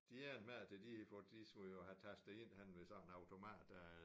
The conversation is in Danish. De endte med at tage de for de skulle jo have tastet ind henne ved sådan en automat der